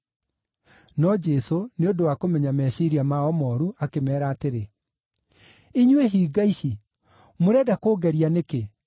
No Jesũ, nĩ ũndũ wa kũmenya meciiria mao mooru, akĩmeera atĩrĩ, “Inyuĩ hinga ici, mũrenda kũngeria nĩkĩ?